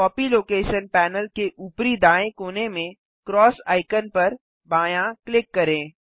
copy location panel के ऊपरी दाएँ कोने में क्रॉस आइकन पर बायाँ क्लिक करें